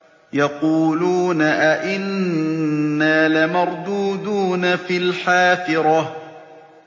يَقُولُونَ أَإِنَّا لَمَرْدُودُونَ فِي الْحَافِرَةِ